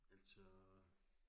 Altså